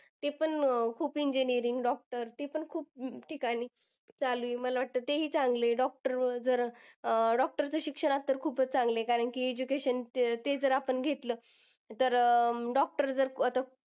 ते पण अह खूप engineering, doctor ते पण खूप ठिकाणी चालू आहे. मला वाटतं, तेही चांगले doctor जरा doctor च शिक्षण असेल तर खूपच चांगलं आहे. कारण की, education ते आपण घेतलं तर अं doctor जर आता